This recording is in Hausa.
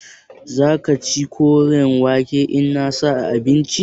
Za ka ci koren wake in na sa a abinci?